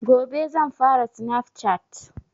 Gobe zan fara snaf cat